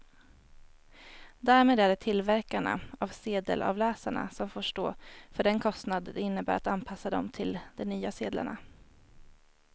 Därmed är det tillverkarna av sedelavläsarna som får stå för den kostnad det innebär att anpassa dem till de nya sedlarna.